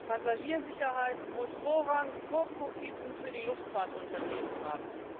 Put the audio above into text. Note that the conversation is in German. Passagiersicherheit muss Vorrang vor Profiten für die Luftfahrtunternehmen haben!